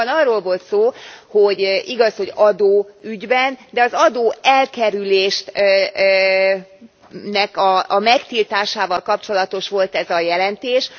Itt azonban arról volt szó, hogy igaz, hogy adóügyben, de az adóelkerülésnek a megtiltásával kapcsolatos volt ez a jelentés.